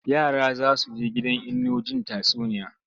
Yara za su he gidan Inno jin tatsuniya.